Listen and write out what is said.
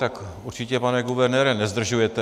Tak určitě, pane guvernére, nezdržujete.